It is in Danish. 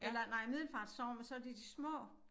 Eller nej Middelfart Sogn men så det de små